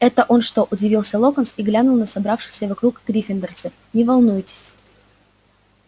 это он что удивился локонс и глянул на собравшихся вокруг гриффиндорцев не волнуйтесь